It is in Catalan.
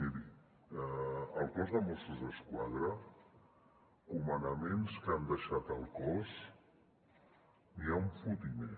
miri al cos de mossos d’esquadra comandaments que han deixat el cos n’hi ha un fotimer